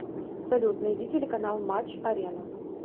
салют найди телеканал матч арена